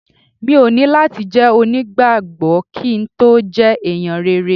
Mi ò ní láti jẹ́ onígbàgbọ́ kí n tó jẹ́ ẹ̀yàn rere.